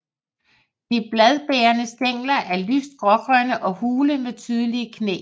De bladbærende stængler er lyst grågrønne og hule med tydelige knæ